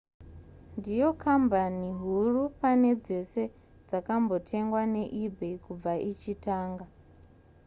ndiyo kambani huru pane dzese dzakambotengwa neebay kubva ichitanga